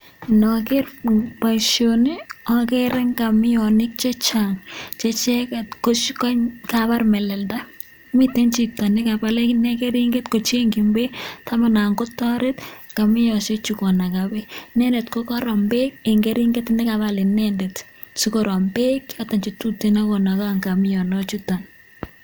Ndoger boisioni ogere ngamionik che chang, che icheget ko kobar melelda, miten chito ne kabal ak inee keringet kochengin beek tamanan kotoret ngamiosheju konaga beek. Inendet kogorom beek en keringet ne kabal inendet asi korom beek che choto che tuten ak konaga ngamionichuto.